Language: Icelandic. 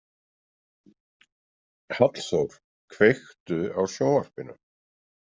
Hallþór, kveiktu á sjónvarpinu.